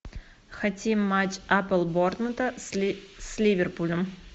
хотим матч апл борнмута с ливерпулем